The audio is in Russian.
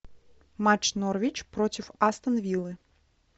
матч норвич против астон виллы